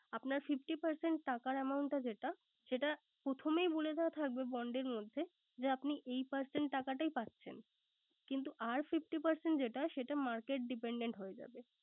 আপনার fifty percent টাকার amount টা যেটা, সেটা প্রথমেই বলে দেয়া থাকবে bond এর মধ্যে যে আপনি এই percent টাকাটাই পাচ্ছেন। কিন্ত আর fifty percent যেটা সেটা market dependtent হয়ে যাবে।